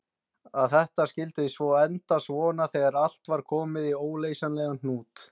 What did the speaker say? Að þetta skyldi svo enda svona þegar allt var komið í óleysanlegan hnút!